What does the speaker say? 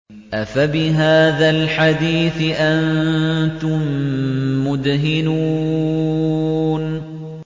أَفَبِهَٰذَا الْحَدِيثِ أَنتُم مُّدْهِنُونَ